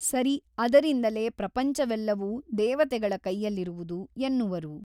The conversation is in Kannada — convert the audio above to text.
ಸರಿ ಅದರಿಂದಲೇ ಪ್ರಪಂಚವೆಲ್ಲವೂ ದೇವತೆಗಳ ಕೈಯಲ್ಲಿರುವುದು ಎನ್ನುವರು.